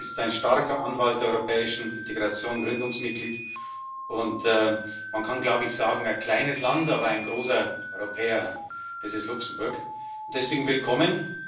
Luxemburg ist ein starker Anwalt der europäischen Integration, Gründungsmitglied, und man kann sagen ein kleines Land, aber ein großer Europäer. Das ist Luxemburg. Und deswegen Willkommen.